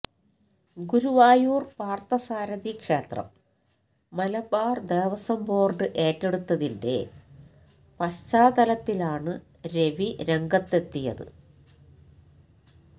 ഗുരുവായൂര് പാര്ഥസാരഥി ക്ഷേത്രം മലബാര് ദേവസ്വം ബോര്ഡ് ഏറ്റെടുത്തതിന്റെ പശ്ചാത്തലത്തിലാണ് രവി രംഗത്തെത്തിയത്